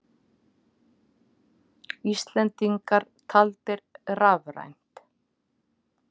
Íslendingar taldir rafrænt